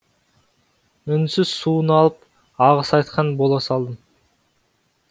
үнсіз суын алып алғыс айтқан бола салдым